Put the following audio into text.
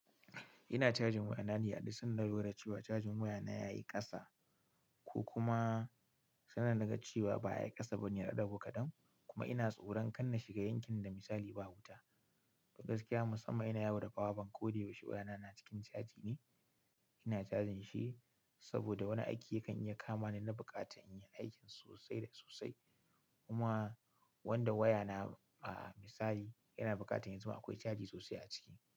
Ina cajin wayana ne aduk sanda na lura cewa cajin wayana ya yi kasa ko kuma sannan naga cewa ba a yi kasa bane yaɗago kadan. Kuma ina tsoron kanna shiga yankin da misali ba wuta. To gaskiya musamman ina yawo da power bank koda yaushe wayana na cikin caji ne. Ina cajin shi saboda wani aiki yakan iya kama ni na bukata in yi aikin sosai da sosai. Kuma wanda wayana a misali yana bukata yanzu ma akwai caji sosai a ciki.